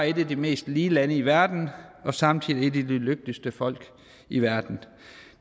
et af de mest lige lande i verden og samtidig et af de lykkeligste folk i verden